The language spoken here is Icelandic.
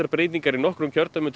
breytingar í nokkrum kjördæmum til